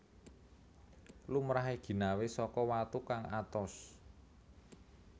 Lumrahé ginawé saka watu kang atos